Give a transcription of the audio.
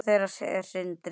Sonur þeirra er Sindri.